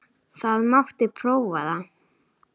Það mátti prófa það.